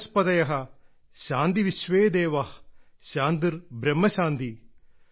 വനസ്പതയ ശാന്തിവിശ്വേ ദേവാ ശാന്തിർ ബ്രഹ്മ ശാന്തി